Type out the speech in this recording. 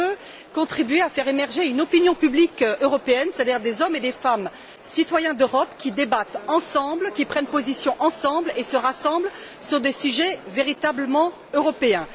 Il peut contribuer à faire émerger une opinion publique européenne, c'est à dire des hommes et des femmes citoyens d'Europe qui débattent, ensemble, qui prennent position ensemble et se rassemblent sur des sujets véritablement européens.